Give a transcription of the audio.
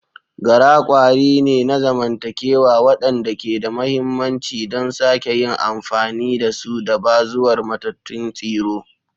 Gara kwari ne na zamantakewa waɗanda ke da mahimmanci don sake yin amfani da su da bazuwar matattun tsiro.